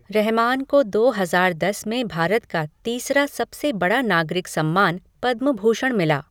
रहमान को दो हजार दस में भारत का तीसरा सबसे बड़ा नागरिक सम्मान पद्म भूषण मिला।